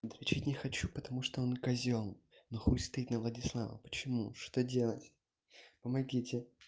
отвечать не хочу потому что он козёл ну хуй стоит на владислава почему что делать помогите